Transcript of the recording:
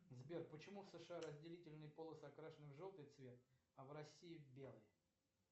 сбер почему в сша разделительные полосы окрашены в желтый цвет а в россии в белый